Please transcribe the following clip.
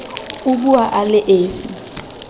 o bua a le esi